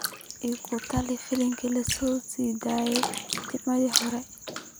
igu tali filim la sii daayay Jimcihii hore